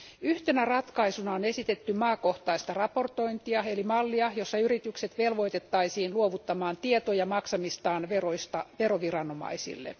Yhtenä ratkaisuna on esitetty maakohtaista raportointia eli mallia, jossa yritykset velvoitettaisiin luovuttamaan tietoja maksamistaan veroista veroviranomaisille.